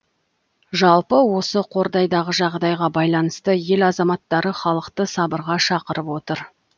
жалпы осы қордайдағы жағдайға байланысты ел азаматтары халықты сабырға шақырып отыр